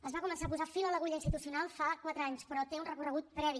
s’hi va començar a posar fil a l’agulla institucional fa quatre anys però té un recorregut previ